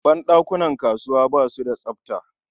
Ban ɗakunan kasuwa ba su da tsafta.